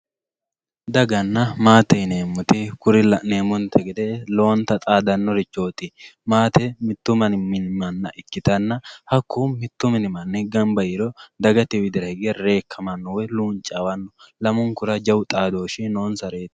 Dagana maate yinewowoyite kuri la`nemonte gede lowonta xadanorichoti maate mitu mini mana ikitana hakku mitu mini mani ganba yee heriro dagate widira hige rekamano woyi luunvawano lamunkura jawu xadoshi nonsareti.